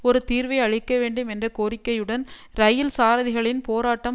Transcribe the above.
ஒரு தீர்வை அளிக்க வேண்டும் என்ற கோரிக்கையுடன் இரயில் சாரதிகளின் போராட்டம்